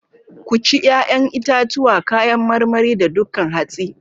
Ku ci 'ya'yan itatuwa, kayan marmari, da dukan hatsi.